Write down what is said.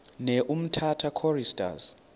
ne umtata choristers